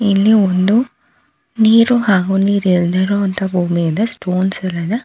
ಇಲ್ಲಿ ಒಂದು ನೀರು ಹಾಗೂ ನೀರ್ ಇಲ್ದೆರೊ ಅಂತ ಭೂಮಿ ಇದೆ ಸ್ಟೋನ್ಸ್ ಯಲ್ಲ ಇದೆ.